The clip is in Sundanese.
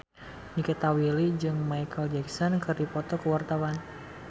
Nikita Willy jeung Micheal Jackson keur dipoto ku wartawan